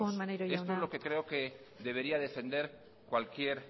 defendemos amaitzen joan maneiro jauna esto es lo que creo que debería defender cualquier